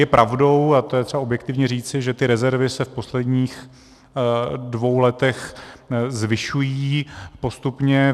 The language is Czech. Je pravdou, a to je třeba objektivně říci, že ty rezervy se v posledních dvou letech zvyšují postupně.